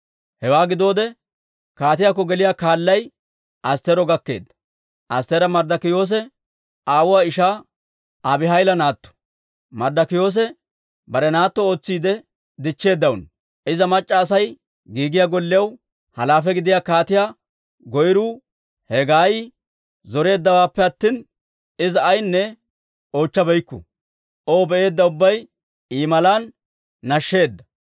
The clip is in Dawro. Hewaa gidoode, kaatiyaakko geliyaa kaalay Astteero gakkeedda. Astteera Marddikiyoosa aawuwaa ishaa Abihayila naatto; Marddokiyoosi bare naatto ootsiide dichcheedaano. Iza mac'c'a Asay giigiyaa gollew halaafe gidiyaa kaatiyaa goyruu Hegaayi zoreeddawaappe attina Iza ayinne oochabeykku. O be'eedda ubbay I malaa nashsheedda.